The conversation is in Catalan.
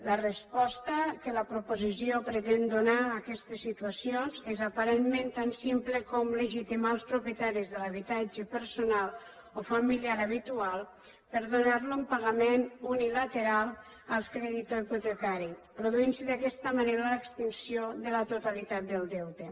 la resposta que la proposició pretén donar a aquestes situacions és aparentment tan simple com legitimar els propietaris de l’habitatge personal o familiar habitual per a donar ne un pagament unilateral al creditor hipotecari i es produeix d’aquesta manera l’extinció de la totalitat del deute